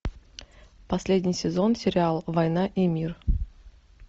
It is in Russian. последний сезон сериал война и мир